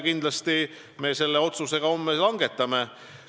Kindlasti me selle otsuse ka homme langetame.